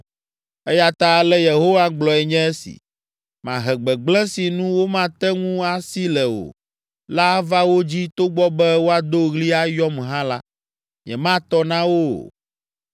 Eya ta ale Yehowa gblɔe nye si, ‘Mahe gbegblẽ si nu womate ŋu asi le o la ava wo dzi togbɔ be woado ɣli ayɔm hã la, nyematɔ na wo o.